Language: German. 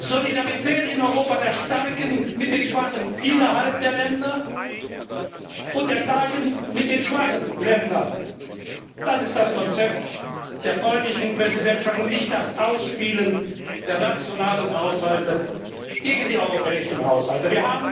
Solidarität in Europa, Solidarität der Starken mit den Schwachen innerhalb der Länder und der starken mit den schwachen Ländern das ist das Konzept der polnischen Präsidentschaft, und nicht das Ausspielen der nationalen Haushalte gegen die europäischen Haushalte!